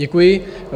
Děkuji.